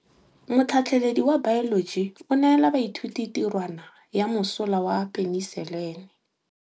Motlhatlhaledi wa baeloji o neela baithuti tirwana ya mosola wa peniselene.